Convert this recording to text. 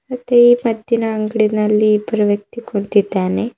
ಮತ್ತೆ ಈ ಪತ್ತಿನ ಅಂಗಡಿನಲ್ಲಿ ಇಬ್ಬರು ವ್ಯಕ್ತಿ ಕುಂತಿದ್ದಾನೆ.